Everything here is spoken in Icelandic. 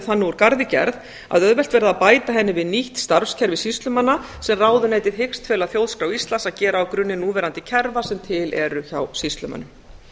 þannig úr garði gerð að auðvelt verði að bæta henni við nýtt starfskerfi sýslumanna sem ráðuneytið hyggst fela þjóðskrá íslands að gera á grunni núverandi kerfa sem til eru hjá sýslumönnum